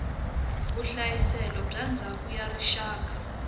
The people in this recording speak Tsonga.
vuhlayiselo bya ndzhaka ya rixaka